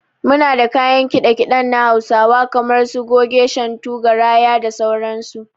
Muna da kayan kiɗa kiɗen na Hausawa kamar su, Goge, Shantu, Garaya, kda sauran su.